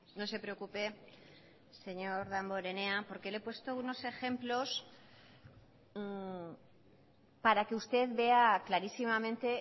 no se preocupe señor damborenea porque le he puesto unos ejemplos para que usted vea clarísimamente